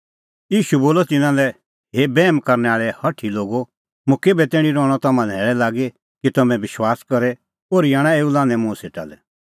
ईशू बोलअ तिन्नां लै हे बैहम करनै आल़ै हठी लोगो मुंह केभै तैणीं रहणअ तम्हां सेटा और केभै तैणीं रहणअ मुंह थारी ज़िरदै लागी ओर्ही आणा तेऊ मुंह सेटा लै